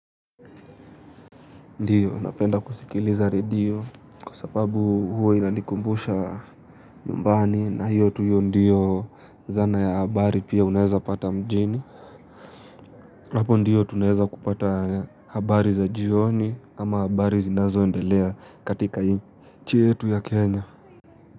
Ndiyo napenda kusikiliza radio kwa sababu huwa inanikumbusha yumbani na hiyo tu iyo ndiyo zana ya habari pia unaeza pata mjini. Hapo ndiyo tunaeza kupata habari za jioni ama habari zinazo endelea katika hii nchi yetu ya kenya.